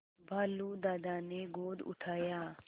भालू दादा ने गोद उठाया